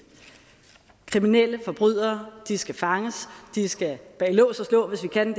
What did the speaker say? kriminelle forbrydere skal fanges de skal bag lås og slå hvis vi kan